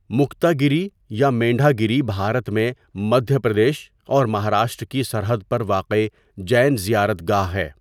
مکتاگیری یا مینڈھاگیری بھارت میں مدھیہ پردیش اور مہاراشٹر کی سرحد پر واقع جین زیارت گاہ ہے۔